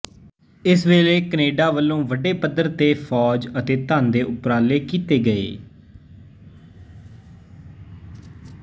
ਇਸ ਵੇਲੇ ਕੈਨੇਡਾ ਵਲੋਂ ਵੱਡੇ ਪੱਧਰ ਤੇ ਫੌਜ ਅਤੇ ਧਨ ਦੇ ਉਪਰਾਲੇ ਕੀਤੇ ਗਏ